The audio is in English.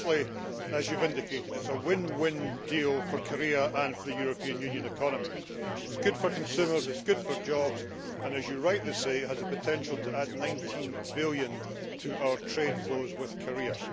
Firstly, as you have indicated, it is a win win deal for Korea and for the European Union economies. It is good for consumers, it is good for jobs and, as you rightly say, it has a potential to add 19 billion to our trade flows with Korea.